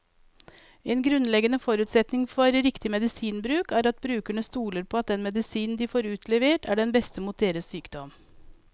En grunnleggende forutsetning for riktig medisinbruk er at brukerne stoler på at den medisinen de får utlevert, er den beste mot deres sykdom.